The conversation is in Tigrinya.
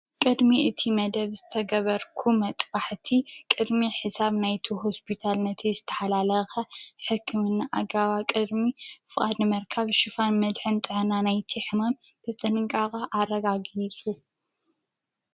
ቅድሚ እቲ መደብ ዝተገበርኩ መጥባሕቲ ቅድሚ ሕሳብ ናይቲ ሆስፒታል ነቲ ዝተሓላለኸ ሕክምና ኣጋባብ ቅድሚ ፍቓድ ምርካብ ሽፋን መድሕን ጥዕና ናይቲ ሕመም ብጥንቃቀ ኣረጋጊፁ።